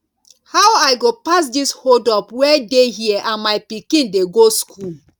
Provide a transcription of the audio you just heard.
how i go pass this hold up wey dey here and my pikin dey go school